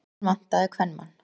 Hann vantaði kvenmann.